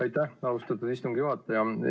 Aitäh, austatud istungi juhataja!